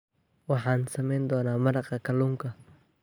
Waxaan samayn doonaa maraqa kalluunka